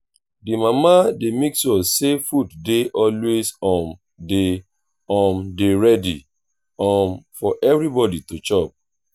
di mama dey make sure sey food dey always um dey um dey ready um for everybodi to chop